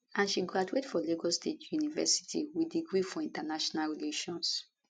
and she graduate for lagos state university wit degree for international relations